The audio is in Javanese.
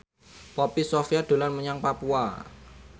Poppy Sovia dolan menyang Papua